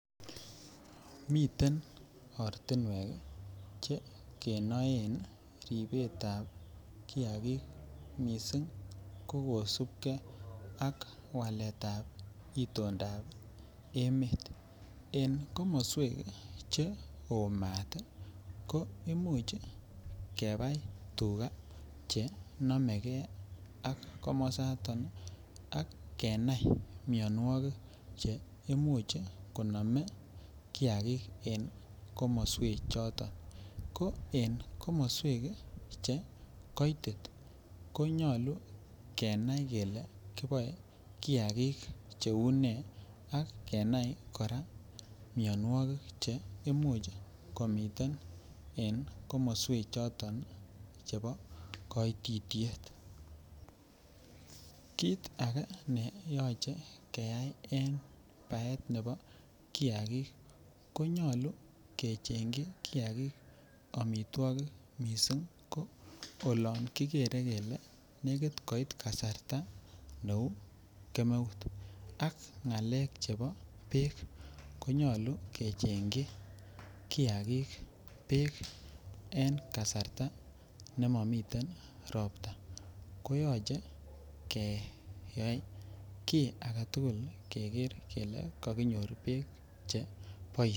Miten ortinwek chekenoen ribetab kiakik mising ko kosupkee ak itondab emet en komoswejk cheoo maat ko imuch kebei tukaa chenomeke ak komosoton ak kenai mionwokik cheeimuch konam kiakik en komoswechoton ko en komoswek che koitit konyolu kenae kele kiboe kiakik cheu nee ak kenai kora mionwokik che imuch komiten en komoswe choton chebo koititiet, kiit akee ne yoche keyai en baet nebo kiakik konyolu kechengyi kiakik omitwokik mising ko oloon kikeere kelee nekit koit kasarta neuu kemeut ak ng'alek chebo beek konyolu kechengyi kiakik beek en kasarta nemomiten robta koyoche ke yaii kii aketukul keker kelee kokinyor beek chekiboishen.